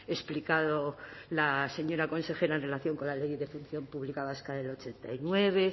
explicado la señora consejera en relación con la ley de función pública vasca del ochenta y nueve